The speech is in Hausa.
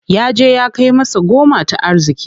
Yaje ya kai masa goma ta arziki.